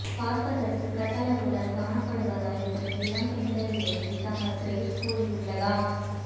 பார்ப்பதற்கு கட்டழகுடன் காணப்படுவதால் இதற்கு இளம் பெண்களிடையே செம கிரேஸ் கூடியுள்ளதாம்